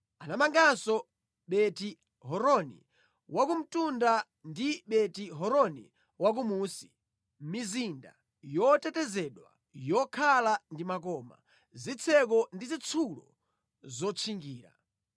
Anamanganso Beti-Horoni Wakumtunda ndi Beti-Horoni Wakumunsi, mizinda yotetezedwa yokhala ndi makoma, zitseko ndi zitsulo zotchingira,